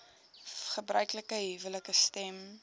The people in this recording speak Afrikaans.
gebruiklike huwelike stem